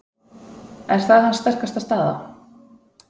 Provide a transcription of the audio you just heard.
Er það hans sterkasta staða?